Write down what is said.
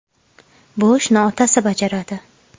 Bu ishni otasi bajaradi.